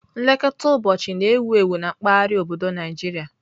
Nlekọta ụbọchị na-ewu ewu na mpaghara obodo Nigeria.